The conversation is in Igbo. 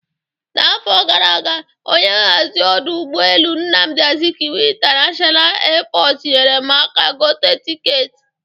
N'afọ gara aga, onye nhazi ọdụ ụgbọ elu Nnamdi Azikiwe International Airport nyere m aka gote tiketi.